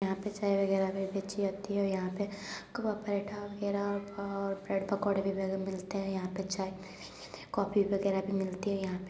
यहां पे चाय वगैरा भी बेची जाती है और यहां पे कवाब-परेठा वगैरा और ब्रेड पकोड़ा वगैरा भी मिलते हैं। यहां पे चाय कॉफी वगैरा भी मिलती है यहां पे ।